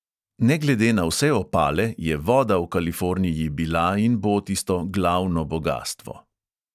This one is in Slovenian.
Ne glede na vse opale je voda v kaliforniji bila in bo tisto glavno bogastvo.